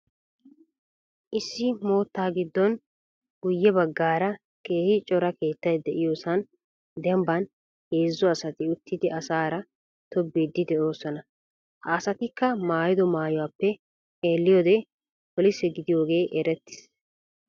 Issi moottaa gidoon guye bagaara keehi cora keettay de'iyoosan dembbaan heezzu asati uttidi asaara tobbiidi de'oosona. Ha asattikka maayido mayuwaappe xeeliiyode polise gidiyoogee erettis.